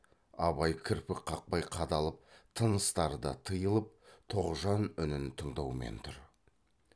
абай кірпік қақпай қадалып тыныстары да тыйылып тоғжан үнін тыңдаумен тұр